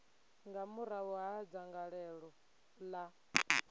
nga murahu ha dzangalelo ḽa